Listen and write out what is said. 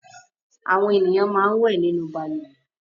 Àwọn ènìyàn máa ń wẹ̀ nínú balùwẹ̀.